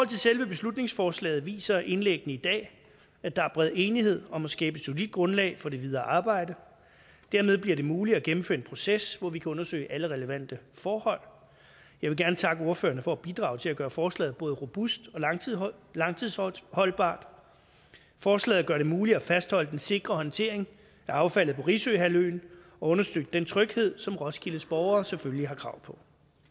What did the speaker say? til selve beslutningsforslaget viser indlæggene i dag at der er bred enighed om at skabe et solidt grundlag for det videre arbejde dermed bliver det muligt at gennemføre en proces hvor vi kan undersøge alle relevante forhold jeg vil gerne takke ordførerne for at bidrage til at gøre forslaget både robust og langtidsholdbart langtidsholdbart forslaget gør det muligt at fastholde den sikre håndtering af affaldet på risø halvøen og understøtte den tryghed som roskildes borgere selvfølgelig har krav på